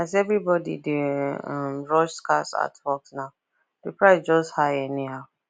as everybody dey um rush scarce artworks now the price just high anyhow